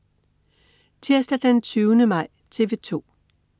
Tirsdag den 20. maj - TV 2: